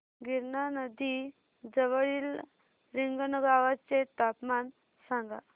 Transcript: गिरणा नदी जवळील रिंगणगावाचे तापमान सांगा